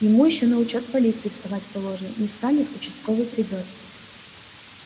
ему ещё на учёт в полиции вставать положено не встанет участковый придёт